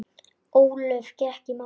Ólöf gekk í málið.